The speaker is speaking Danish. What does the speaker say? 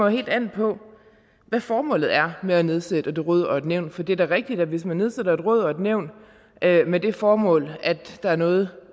helt an på hvad formålet er med at nedsætte et råd eller et nævn for det er da rigtigt at hvis man nedsætter et råd eller et nævn med det formål at der er noget